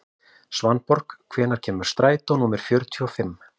Svanborg, hvenær kemur strætó númer fjörutíu og fimm?